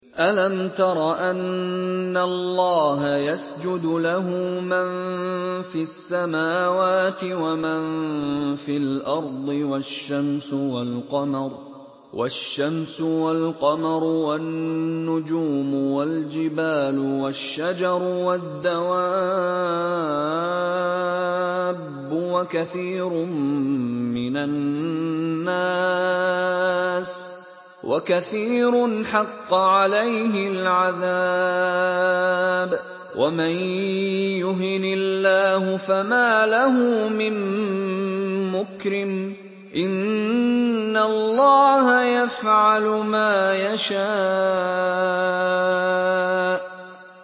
أَلَمْ تَرَ أَنَّ اللَّهَ يَسْجُدُ لَهُ مَن فِي السَّمَاوَاتِ وَمَن فِي الْأَرْضِ وَالشَّمْسُ وَالْقَمَرُ وَالنُّجُومُ وَالْجِبَالُ وَالشَّجَرُ وَالدَّوَابُّ وَكَثِيرٌ مِّنَ النَّاسِ ۖ وَكَثِيرٌ حَقَّ عَلَيْهِ الْعَذَابُ ۗ وَمَن يُهِنِ اللَّهُ فَمَا لَهُ مِن مُّكْرِمٍ ۚ إِنَّ اللَّهَ يَفْعَلُ مَا يَشَاءُ ۩